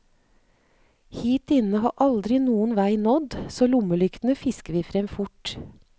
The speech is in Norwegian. Hit inne har aldri noen vei nådd, så lommelyktene fisker vi frem fort.